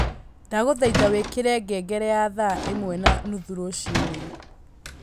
ndagũthaita wĩkire ngengere ya Thaa ĩmwe na nuthu rũcinĩ